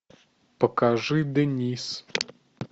покажи дэнис